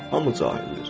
Hamı cahildir.